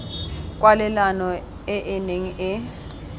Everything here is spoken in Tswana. kwalelano e e neng e